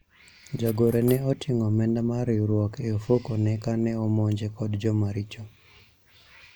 jagoro ne oting'o omenda mar riwruok e ofuku ne kane omonje kod jomaricho